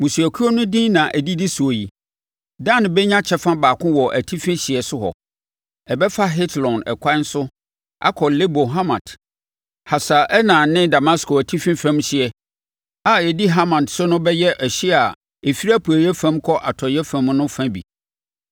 “Mmusuakuo no din na ɛdidi soɔ yi: “Dan bɛnya kyɛfa baako wɔ atifi hyeɛ so hɔ; ɛbɛfa Hetlon ɛkwan so akɔ Lebo Hamat, Hasar Enan ne Damasko atifi fam hyeɛ a ɛdi Hamat so no bɛyɛ ɛhyeɛ a ɛfiri apueeɛ fam kɔ atɔeɛ fam no fa bi.